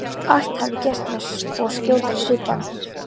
Allt hafi gerst með svo skjótri svipan.